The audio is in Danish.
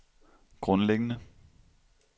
grundlæggende